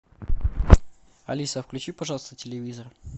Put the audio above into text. алиса включи пожалуйста телевизор